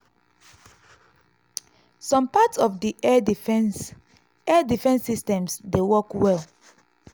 some parts of di air defence air defence systems dey work well.